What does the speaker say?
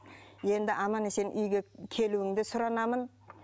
енді аман есен үйге келуіңді сұранамын